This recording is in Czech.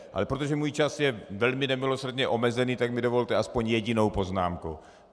Ale protože můj čas je velmi nemilosrdně omezený, tak mi dovolte aspoň jedinou poznámku.